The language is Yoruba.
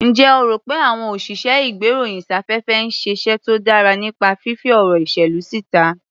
Ǹjẹ́ o rò pé àwọn òsìṣẹ́-ìgbéròyìn-sáfẹ́fẹ́ ń ṣiṣẹ́ tó dára nípa fífí ọ̀rọ̀ ìṣèlú síta?